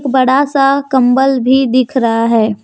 बड़ा सा कम्बल भी दिख रहा है।